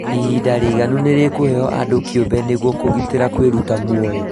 ihinda rĩiganu nĩrĩkũheo andũ kĩũmbe nĩguo kũgitĩra kwĩruta muoyo